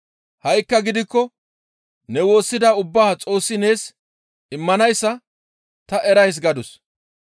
Ha7ikka gidikko ne woossida ubbaa Xoossi nees immanayssa ta erays» gadus.